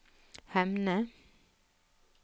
Hemne